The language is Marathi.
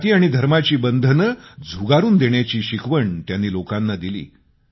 जाती आणि धर्माची बंधनं झुगारून देण्याची शिकवण त्यांनी लोकांना दिली